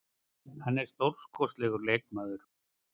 Hann er stórkostlegur leikmaður.